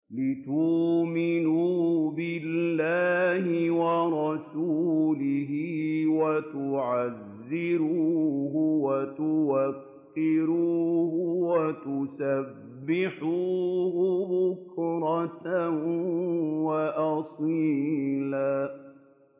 لِّتُؤْمِنُوا بِاللَّهِ وَرَسُولِهِ وَتُعَزِّرُوهُ وَتُوَقِّرُوهُ وَتُسَبِّحُوهُ بُكْرَةً وَأَصِيلًا